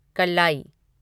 कल्लाई